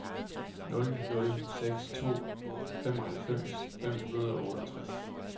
nul nul seks to femoghalvfems fem hundrede og otteogtres